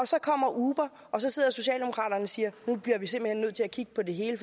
så kommer uber og så sidder socialdemokraterne og siger nu bliver vi simpelt hen nødt til at kigge på det hele